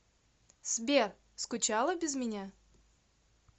сбер скучала без меня